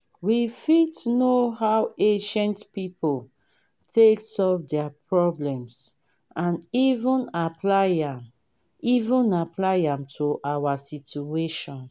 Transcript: we fit know how ancient pipo take solve their problems and even apply am even apply am to our situation